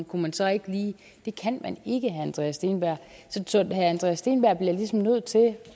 kunne man så ikke lige det kan man ikke herre andreas steenberg så herre andreas steenberg bliver ligesom nødt til